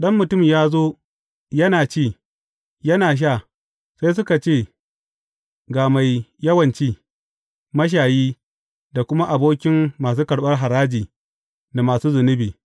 Ɗan Mutum ya zo yana ci, yana sha, sai kuka ce, Ga mai yawan ci, mashayi, da kuma abokin masu karɓar haraji da masu zunubi.’